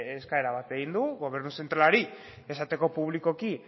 eskaera bat egin dugu gobernu zentralari esateko publikoki